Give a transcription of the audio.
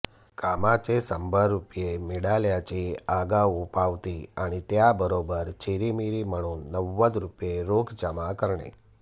कामाचे शंभर रुपये मिळाल्याची आगाऊ पावती आणि त्याबरोबर चिरीमिरी म्हणून नव्वद रुपये रोख जमा करणे